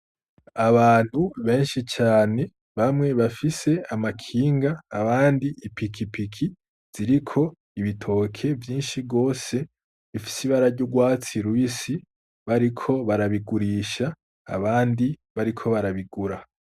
Abantu benshi cane, bamwe bafise amakinga abandi ipikipiki, ziriko bitoke vyinshi gose bifise ibara ry'urwatsi rubisi, bariko barabigurisha abandi bariko barabigura.